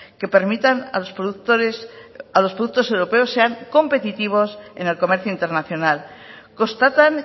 que permitan a los productos europeos sean competitivos en el comercio internacional constatan